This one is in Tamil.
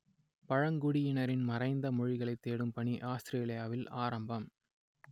பழங்குடியினரின் மறைந்த மொழிகளைத் தேடும் பணி ஆத்திரேலியாவில் ஆரம்பம்